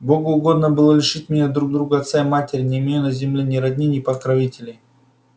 богу угодно было лишить меня друг друга отца и матери не имею на земле ни родни ни покровителей